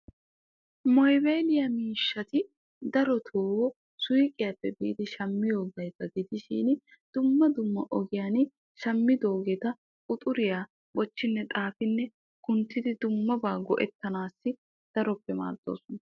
Moobayliyaa miishshati darotoo suyqiyaappe biidi shammiyoogeeta gidishin dumma dumma ogiyaan shammidoogeeta quxuriyaa bochchinne xaafinne kunttidi dummabaa go"ettanaassi daroppe maaddoosona.